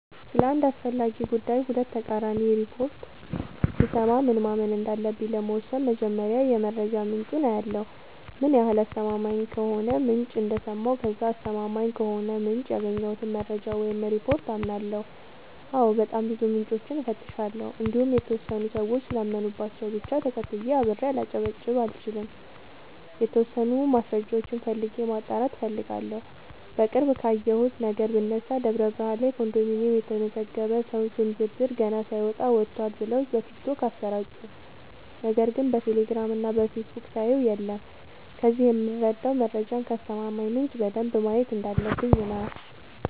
ስለ አንድ አስፈላጊ ጉዳይ ሁለት ተቃራኒ ሪፖርት ብሰማ ምን ማመን እንዳለብኝ ለመወሠን መጀመሪያ የመረጃ ምንጬን አያለሁ ምን ያህል አስተማማኝ ከሆነ ምንጭ እንደሰማሁ ከዛ አስተማማኝ ከሆነው ምንጭ ያገኘሁትን መረጃ ወይም ሪፓርት አምናለሁ አዎ በጣም ብዙ ምንጮችን እፈትሻለሁ እንዲሁም የተወሰኑ ሰዎች ስላመኑባቸው ብቻ ተከትዬ አብሬ ላጨበጭብ አልችልም የተወሰኑ ማስረጃዎችን ፈልጌ ማጣራት እፈልጋለሁ። በቅርብ ካየሁት ነገር ብነሳ ደብረብርሃን ላይ ኮንዶሚኒየም የተመዘገበ ሰው ስም ዝርዝር ገና ሳይወጣ ወጥቷል ብለው በቲክቶክ አሰራጩ ነገር ግን በቴሌግራም እና በፌስቡክ ሳየው የለም ከዚህ የምረዳው መረጃን ከአስተማማኝ ምንጭ በደንብ ማየት እንዳለበ፣ ብኝ ነው።